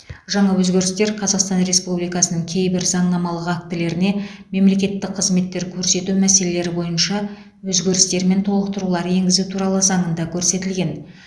жаңа өзгерістер қазақстан республикасының кейбір заңнамалық актілеріне мемлекеттік қызметтер көрсету мәселелері бойынша өзгерістер мен толықтырулар енгізу туралы заңында көрсетілген